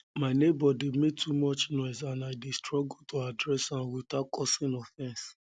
my neighbor dey make too much noise and i dey struggle to address am without without causing offense